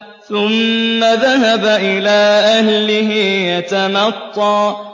ثُمَّ ذَهَبَ إِلَىٰ أَهْلِهِ يَتَمَطَّىٰ